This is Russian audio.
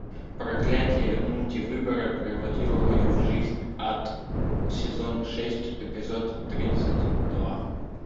проклятие мультивыбора превратило мою жизнь в ад сезон шесть эпизод тридцать два